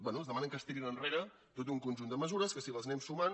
bé demanen que es tirin enre·re tot un conjunt de mesures que si les anem sumant